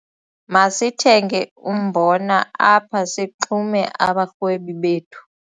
Masithenge umbona apha sixume abarhwebi bethu.